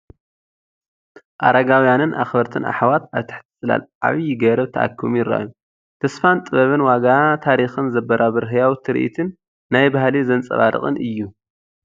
ኣረጋውያንን ኣኽበርትን ኣሕዋት ኣብ ትሕቲ ጽላል ዓብይ ገረብ ተኣኪቦም ይረኣዩ። ተስፋን ጥበብን ዋጋ ታሪኽን ዘበራብር ህያው ትርኢትን ናይ ባህሊ ዘንፀባርቕን እዩ።